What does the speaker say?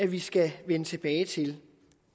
vi skal vende tilbage til